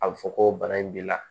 A bɛ fɔ ko bana in b'i la